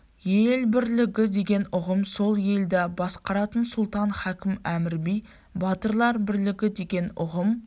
ел бірлігі деген ұғым сол елді басқаратын сұлтан хакім әмір би батырлар бірлігі деген ұғым